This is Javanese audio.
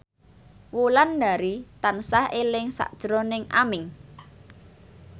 Wulandari tansah eling sakjroning Aming